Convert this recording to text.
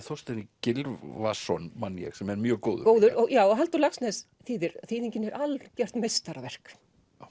Þorstein Gylfason man ég sem er mjög góður já og Halldór Laxness þýðir þýðingin er algjört meistaraverk